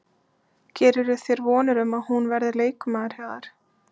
Gerirðu þér vonir um að hún verði leikmaður hjá þér?